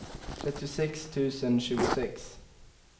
trettiosex tusen tjugosex